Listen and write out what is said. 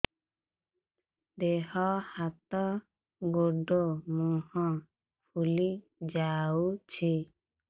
ଦେହ ହାତ ଗୋଡୋ ମୁହଁ ଫୁଲି ଯାଉଛି